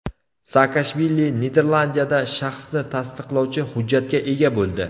Saakashvili Niderlandiyada shaxsni tasdiqlovchi hujjatga ega bo‘ldi.